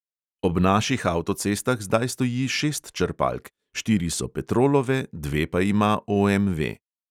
Ob naših avtocestah zdaj stoji šest črpalk, štiri so petrolove, dve pa ima OMV.